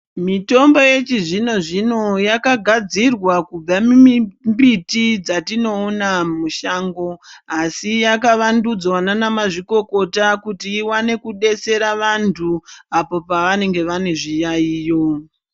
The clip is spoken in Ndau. Mitombo yechizvino zvino yakagadzirwa kubva mumbiti dzatinoona mumashango asi yakavandudzwa nanamazvikokota kuti iwane kudetsera vantu apo pavanenge vane zviyayiyo.